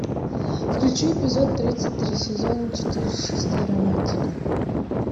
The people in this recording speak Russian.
включи эпизод тридцать три сезон четыре чистая романтика